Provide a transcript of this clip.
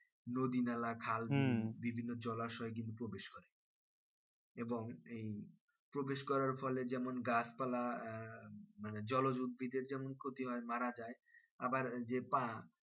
নদী নালা খাল বিভিন্ন জলাশয় এ গিয়ে প্রবেশ করে এবং এই প্রবেশ করার ফলে যেমন গাছ পাল্লা আহ মানে জলজ উদ্ভিদের যেমন ক্ষতি হয় মারা যাই আবার যে পা